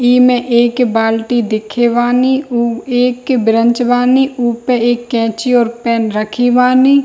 इ में एक बाल्टी दिखे बानी उ एक ब्रंच बानी उ पे एक कैंची और पेन रखी बानी |